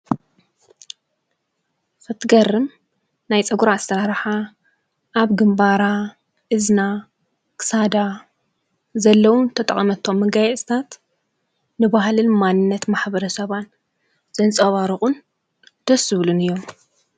ክትገርም ናይ ፀጉራ ኣሰራርሓ ኣብ ግንባራ፣ እዝና ፣ክሳዳ ዘለዉን ዝተጠቐመቶምን መጋየፅታት ንባህልን ማንነት ማሕበ ሰባን ዘንፀባርቑን ደስ ዝብሉን እዮም።